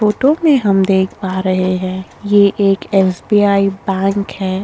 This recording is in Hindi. फोटो में हम देख पा रहे है ये एक एस.बी.आई बैंक हैं।